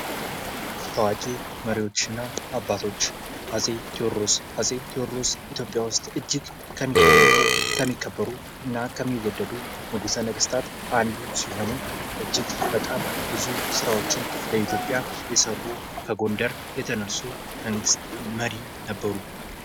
ታዋቂ መሪዎች እና አባቶች አጼ ተዎድሮስ አጼ ተዎድሮስ ኢትዮጵያ ዉስጥ እጅግ ከሚታወቁ ከሚከበሩ እና ከሚወደዱ ንግስተ ነገስታት አንዱ ሲሆኑ እጅግ በጣም ብዙ ስራዎችን ለኢትዮጵያ የሰሩ ከጎንደር የተነሱ መንግስት መሪ ነበሩ።